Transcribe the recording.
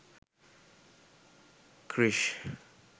krrish